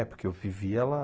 É, porque eu vivia lá.